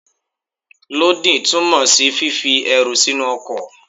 Lódìn túmọ̀ sí fífi ẹrù sínú ọkọ̀.